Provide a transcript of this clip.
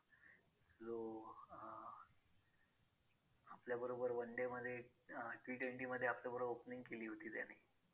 आपल्याबरोबर one day मध्ये अं T twenty मध्ये आपल्याबरोबर opening केली होती त्याने